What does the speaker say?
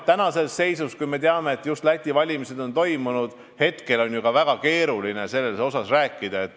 Tänases seisus, kui me teame, et just on toimunud Läti valimised, on ju ka väga keeruline sellest rääkida.